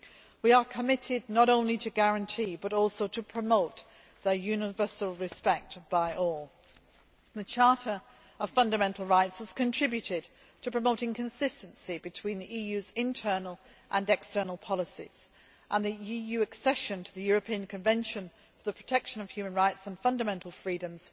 We are committed not only to guarantee but also to promote their universal respect by all. The Charter of Fundamental Rights has contributed to promoting consistency between the EU's internal and external policies, and the EU accession to the European Convention for the Protection of Human Rights and Fundamental Freedoms